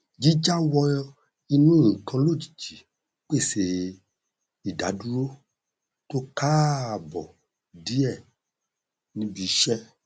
jíjá wọ inú nnkan lójijì pèsè ìdádúró tó káàbọ díẹ níbi iṣẹ